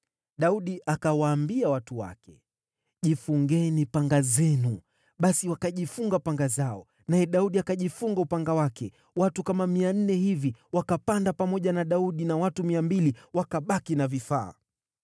Daudi akawaambia watu wake, “Jifungeni panga zenu!” Basi wakajifunga panga zao, naye Daudi akajifunga upanga wake. Watu kama mia nne hivi wakapanda pamoja na Daudi, na watu mia mbili wakabaki na vifaa.